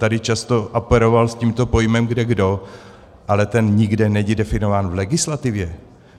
Tady často operoval s tímto pojmem kdekdo, ale ten nikde není definován v legislativě!